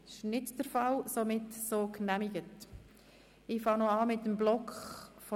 Ich nehme an, dass wir diese gemeinsam beraten können.